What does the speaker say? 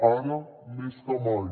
ara més que mai